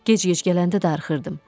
Gec-gec gələndə darıxırdım.